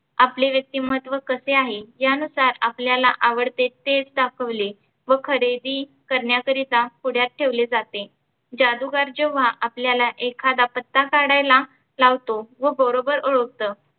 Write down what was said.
आपले व्यक्तिमत्व कसे आहे? या नुसार आपल्याला आवडते तेचं दाखवले, व खरेदी करण्याकरीता पुढ्यात ठेवले जाते. जादुगार जेव्हा आपल्याला एखादा पत्ता काढायला लावतो व बरोबर ओळखतो